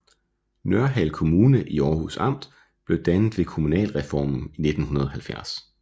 Nørhald Kommune i Århus Amt blev dannet ved kommunalreformen i 1970